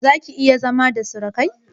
Zaka/iya zama da surukai?